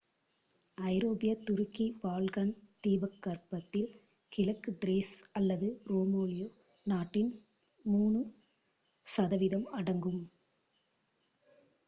ஐரோப்பிய துருக்கி பால்கன் தீபகற்பத்தில் கிழக்கு திரேஸ் அல்லது ருமேலியா நாட்டின் 3% அடங்கும்